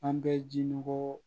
An bɛ ji nɔgɔ